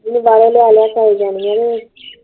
ਨਹੀਂ ਬਾਹਰੋਂ ਲਿਆ ਲਿਆ ਖਾਈ ਜਾਣੀਆਂ ਈ